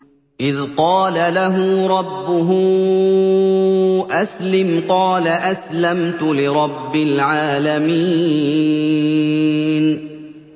إِذْ قَالَ لَهُ رَبُّهُ أَسْلِمْ ۖ قَالَ أَسْلَمْتُ لِرَبِّ الْعَالَمِينَ